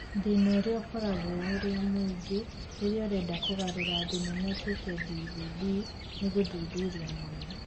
Thĩna ũrĩa ũkoragwo ũrĩa mũingĩ rĩrĩa ũrenda kũgarũra thenema ĩtuĩke DVD nĩ gũthuthuria mũno